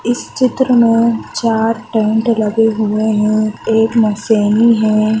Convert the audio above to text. इस चित्र में चार टेंट लगे हुए हैएक है।